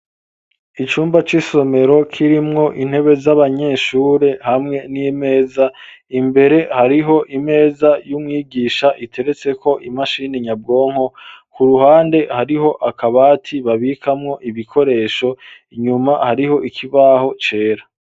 Icumba c'isomero kirimwo intebe z'abanyeshure hamwe n'imeza imbere hariho imeza y'umwigisha iteretseko imashini nyabwonko ku ruhande hariho akabati babikamwo ibikoresho inyuma hariho ikibaho cera.